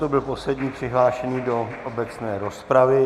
To byl poslední přihlášený do obecné rozpravy.